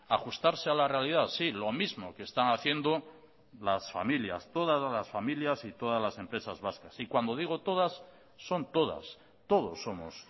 ajustarse a la realidad sí lo mismo que están haciendo las familias todas las familias y todas las empresas vascas y cuando digo todas son todas todos somos